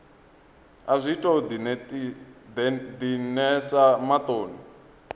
a zwi tou dinesa maṱoni